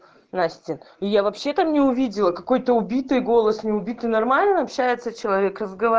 здрасьте и я вообще там не увидела какой то убитый голос не убить нормально общается человек